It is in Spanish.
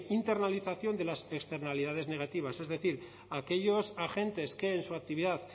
internalización de las externalidades negativas es decir aquellos agentes que en su actividad